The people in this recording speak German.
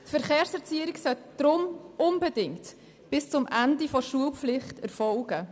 Die Verkehrserziehung sollte deshalb unbedingt bis zum Ende der Schulpflicht erfolgen.